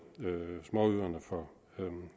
småøerne for